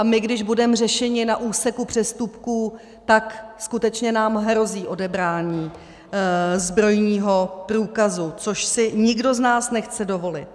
A my když budeme řešeni na úseku přestupků, tak skutečně nám hrozí odebrání zbrojního průkazu, což si nikdo z nás nechce dovolit.